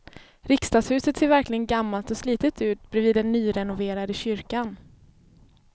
Riksdagshuset ser verkligen gammalt och slitet ut bredvid den nyrenoverade kyrkan.